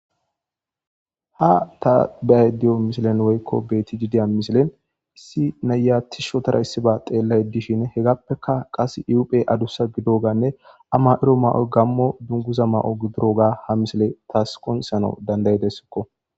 Ha ta beyayda diya misilen woyko beetidi diya misilen issi na'iya tishi ootada issiba xeelayde dishin hegappeka qase I hu'ey adusa gidoganne a mayido mayoy gamo dunguza gididoga tas ha misileuy qoncisana danda' ideskko